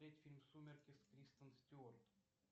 смотреть фильм сумерки с кристен стюарт